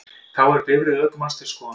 Þá er bifreið ökumanns til skoðunar